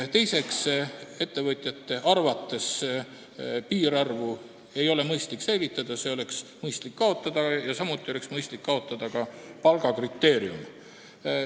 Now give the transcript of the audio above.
Teiseks, ettevõtjate arvates ei ole piirarvu mõistlik säilitada, see oleks mõistlik kaotada, samuti oleks mõistlik kaotada palgakriteerium.